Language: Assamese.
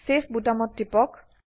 চেভ বোতামত টিপক